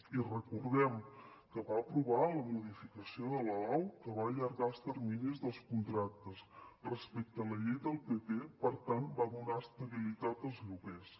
i recordem que va aprovar la modificació de la lau que va allargar els terminis dels contractes respecte a la llei del pp per tant va donar estabilitat als lloguers